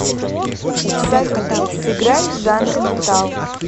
салют сыграй жанр метал